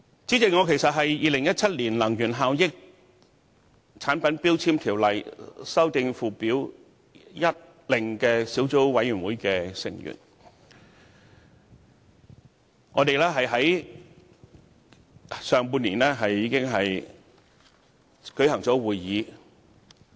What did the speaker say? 主席，我是《2017年能源效益條例令》小組委員會的成員，我們在上半年已經舉行了會議。